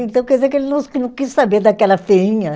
Então, quer dizer que ele não, que não quis saber daquela feinha.